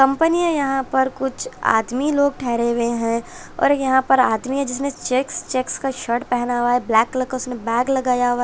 company है यहां पर कुछ आदमी लोग ठहरे हुए हैं और यहां पर आदमी है जिसने चेक्स चेक्स का शर्ट पहना हुआ है ब्लैक कलर का उसमे बैग लगाया हुआ--